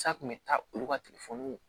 Sa kun bɛ taa olu ka telefɔni